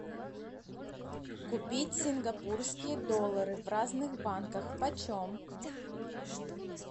купить сингапурские доллары в разных банкам почем